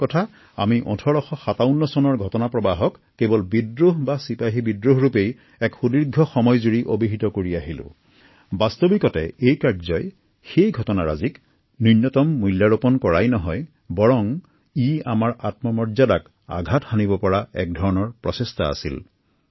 প্ৰকৃতাৰ্থত ১৮৫৭ৰ মেক কেৱল এক ঐতিহাসিক পৰিঘটনাৰ বাবেই স্মৰণ কৰা নহয় এয়া দেশবাসীৰ আত্মসন্মান ৰক্ষাৰো এক যুঁজ আছিল